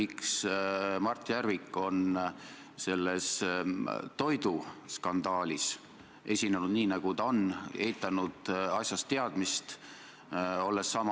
Kui ma olen siin Riigikogu kõnetoolis mitmel korral rääkinud, et Riigikogu liikme sõnal on väga suur kaal, siis just see juhtum seda näitab.